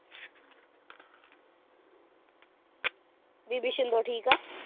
ਬੀਬੀ ਛਿੰਦੋ ਠੀਕ ਐ।